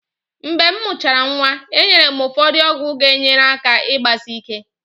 Mgbe m mụchara nwa, enyere m ụfọdụ ọgwụ ga-enyere aka igbasike.